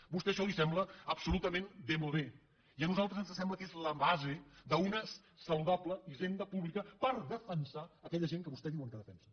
a vostè això li sembla absolutament démodéla base d’una saludable hisenda pública per defensar aquella gent que vostès diuen que defensen